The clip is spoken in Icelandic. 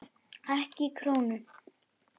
Ekki krónu!